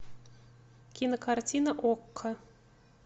кинокартина окко